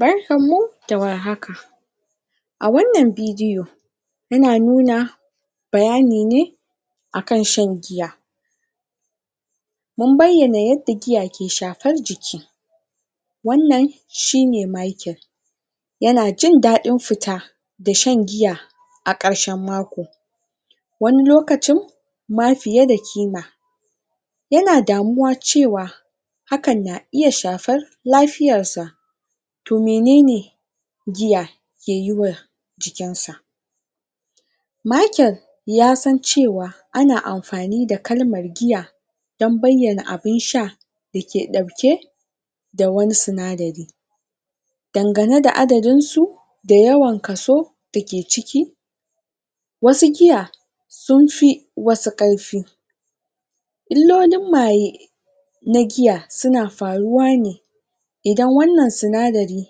Barkanmu da warhaka a wannan bidiyo muna nuna bayani ne a kan shan giya mun bayyana yadda giya ke shafar jiki wannan shi ne Machiel yana jin daɗin fita da shan giya a ƙarshen mako wani lokacin ma fiye da kima yana damuwa cewa hakan na iya shafar lafiyarsa. To mene ne giya ke yi wa jikinsa. Michael ya san cewa ana amfani da kalmar giya don bayyana abun sha da ke ɗauke da wani sinadari dandange da adadinsu da yawan kaso dake ciki wasu giya sun fi wasu ƙarfi. illolin maye na giya suna faruwa ne idan wannan sinadari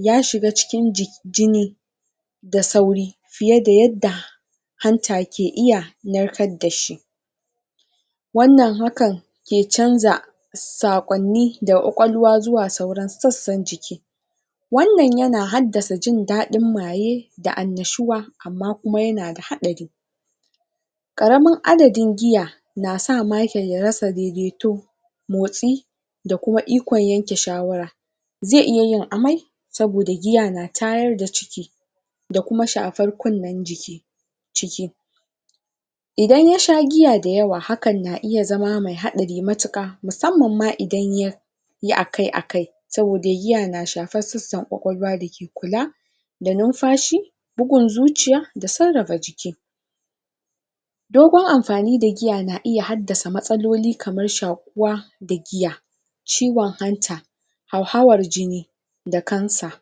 ya shiga cikin jini da sauri fiye da yadda hanta ke iya narkar da shi wannan hakan ke canza saƙonni daga ƙwaƙwalwa zuwa sauran sassan jiki. Wannan yana haddasa jin daɗin maye da annashuwa, amma kuma yana haddasa haɗari ƙaramin adadin giya, na sa Michael ya rasa daidaito, motsi da kuma ikon yanke shawara. zai iya yin amai saboda giya na tayar da ciki, da kuma shafar kunnen jiki ciki. Iadan ya sha giya da yawa hakan na iya zama mai haɗari matuƙa musamman ma idan ya yai akai-akai. Saboda giya na shafar sassan ƙwaƙwalwa dake kula da numfashi bugun zuciya da sarrafa jiki. Dogon amfani da giya na iya haddasa matsaloli kamar shaƙuwa da giya. Ciwon hanta, hauhawar jini da cancer.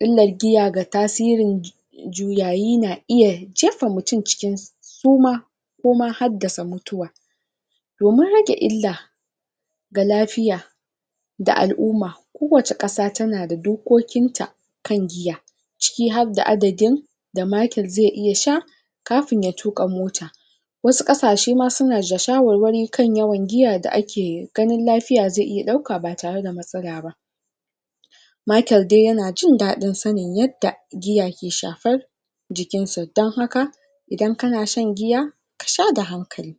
Illar giya ga tasirin jiki juyayi na iya jefa mutum cikin suma ko ma haddasa mutuwa. Domin rage illa. ga lafiya da al'umma kowace ƙasa tana da dokokinta kan giya. ciki harda adadin da Michael zai iya sha kafin ya tuƙa mota Wasu ƙasashen ma suna ja shawarwri ma kan yawan giya da ake ganin giya zai iya ɗauka ba tare da matsala ba/ Machiel dai yana jin daɗin sanin yadda giya ke shafar jikinsa don haka idan kana shan giya ka sha da hankali.